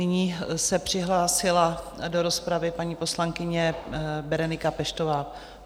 Nyní se přihlásila do rozpravy paní poslankyně Berenika Peštová.